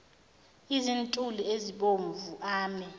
izintuli ezibomvu ame